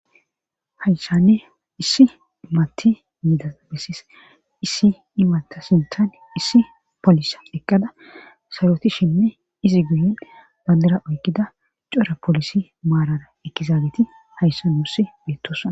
hayssanne issi imati yiidaa besis issi imata sintan issi polisa eqqada sayotishinne izi guyin bandira oykkida core polisi maarara ekkizaageti hayssa nuussi beettossoona